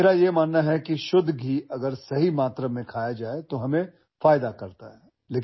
बघा मला असं वाटतं की शुध्द तूप जर योग्य प्रमाणात खाल्ले तर त्याचा आपल्याला खूप फायदा होतो